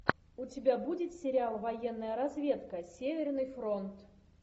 у тебя будет сериал военная разведка северный фронт